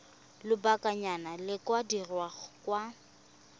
lobakanyana di ka dirwa kwa